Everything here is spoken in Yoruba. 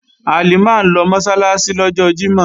Halimah ń lọ Mọ́sálásí lọ́jọ́ Jímọ̀